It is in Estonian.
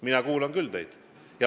Mina kuulan küll teid.